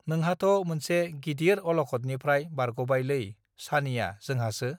नोंहाथ मोनसे गिदिर अलखदनिफ्राय बारगबाय लै छानिया जोंहासो